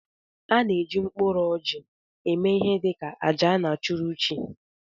A na eji mkpụrụ orji eme ihe dị ka àjà a na achụrụ chi.